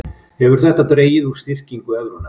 Hefur þetta dregið úr styrkingu evrunnar